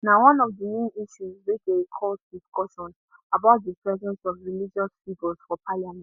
na one of di main issues wey dey cause discussion about di presence of religious figures for parliament